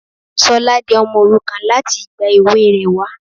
Sola di ọmọ òrukàn láti ìgbà èwe rè wá.